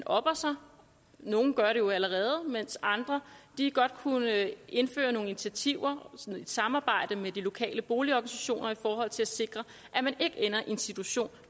opper sig nogle gør det jo allerede mens andre godt kunne indføre nogle initiativer i samarbejde med de lokale boligorganisationer i forhold til at sikre at man ikke ender i en situation